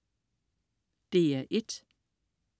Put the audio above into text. DR1: